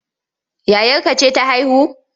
Yayarka ce ta haihu?